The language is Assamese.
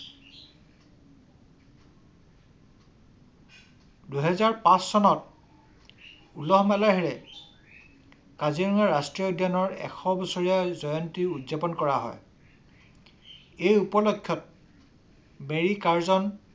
দুহেজাৰ পাচ চনত উলহ মালহেৰে কাজিৰঙাৰ এশ বছৰীয়া জয়ন্তী উদযাপন কৰা হয়। সেই উপলকক্ষত মেৰী কাৰ্জন